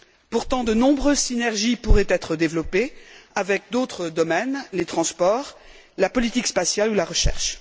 Pourtant, de nombreuses synergies pourraient être développées avec d'autres domaines les transports, la politique spatiale ou la recherche.